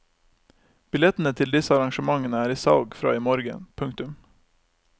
Billettene til disse arrangementene er i salg fra i morgen. punktum